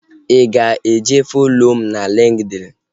Ị ga-eje follo mụ na LinkedIn?